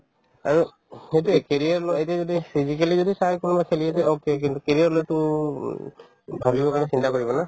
আৰু সেইটোয়ে career লৈ এতিয়া যদি physically যদি চাই কোনোবাই খেলি আছে okay কিন্তু career লৈ তো উম ভাবিবৰ কাৰণে চিন্তা কৰিব ন